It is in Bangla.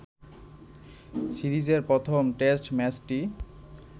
সিরিজের প্রথম টেস্ট ম্যাচটি